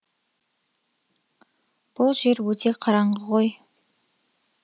бұл жер өте қараңғы ғой